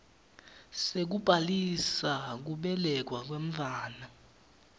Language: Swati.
sekubhalisa kubelekwa kwemntfwana